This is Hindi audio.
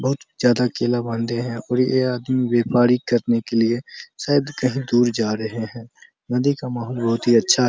बहुत ज्यादा केला बांधे हैं और ये आदमी व्यापारी करने के लिए शायद कहीं दूर जा रहे है नदी का माहौल बहुत ही अच्छा --